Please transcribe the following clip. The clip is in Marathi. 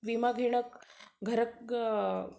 विमा घेण